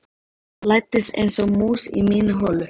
Læddist einsog mús í mína holu.